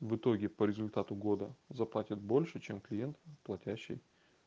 в итоге по результату года заплатят больше чем клиент платящий